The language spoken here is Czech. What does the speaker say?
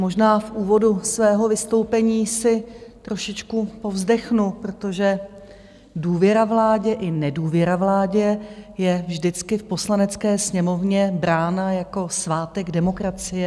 Možná v úvodu svého vystoupení si trošičku povzdechnu, protože důvěra vládě i nedůvěra vládě je vždycky v Poslanecké sněmovně brána jako svátek demokracie.